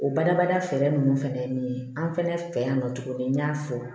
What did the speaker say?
O badabada fɛɛrɛ nunnu fɛnɛ ye min ye an fɛnɛ fɛ yan nɔ tuguni n y'a fɔ